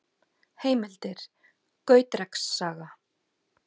Heimildir: Gautreks saga.